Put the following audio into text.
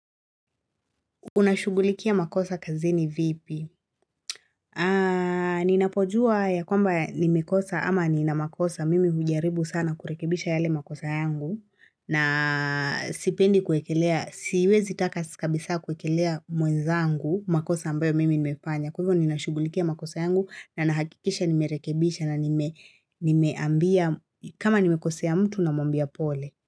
Unashughulikia makosa kazini vipi? Ninapojua ya kwamba nimekosa ama ninamakosa mimi hujaribu sana kurekebisha yale makosa yangu na sipendi kuwekelea, siwezi taka si kabisa kuekelea mwezangu makosa ambayo mimi nimefanya. Kwa hivyo ninashughulikia makosa yangu na nahakikisha nimerekebisha na nimeambia kama nimekosea mtu namwambia pole.